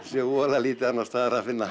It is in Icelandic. sé voða lítið annars staðar að finna